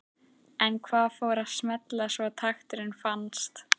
En hvað fór að smella svo takturinn fannst?